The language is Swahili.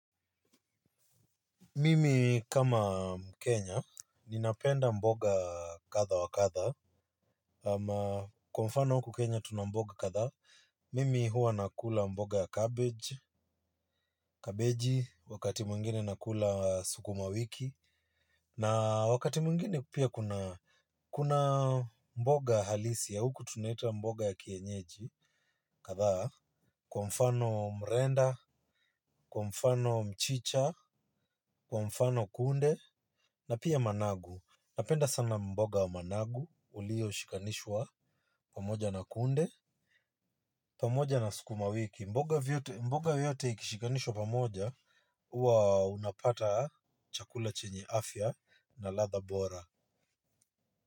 Mimi kama mkenya, ninapenda mboga katha wakatha. Ama kwa mfano huku kenya tunamboga katha. Mimi hua nakula mboga ya cabbage, kabeji, wakati mungine nakula suku mawiki. Na wakati mungine pia kuna mboga halisi ya huku tunaita mboga ya kienyeji, katha. Kwa mfano mrenda, kwa mfano mchicha, kwa mfano kunde, na pia managu. Napenda sana mboga wa managu ulio shikanishwa pamoja na kunde pamoja na skuma wiki mboga vyote mboga vyote ikishikanishwa pamoja huwa unapata chakula chenye afya na ladhaa bora.